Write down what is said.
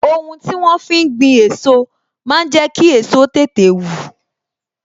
Ohun tí wón fi ń gbin èso máa ń jẹ kí èso tètè wù